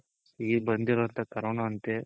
ಈಗ್ ಬಂದಿರೋವಂತ corona ಅಂತೆ